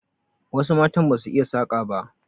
Wasu matan ba su iya saƙa ba.